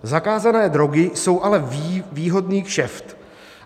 Zakázané drogy jsou ale výhodný kšeft.